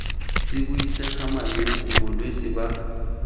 se buisega malwetse bolwetse ba